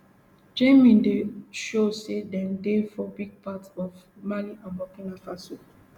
jnim dey show say dem dey for big parts of mali and burkina faso